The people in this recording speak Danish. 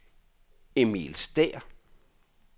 Emil Stæhr